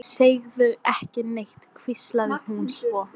Segðu ekki neitt, hvíslaði hún svo.